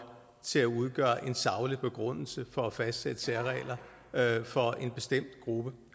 til at udgøre en saglig begrundelse for at fastsætte særregler for en bestemt gruppe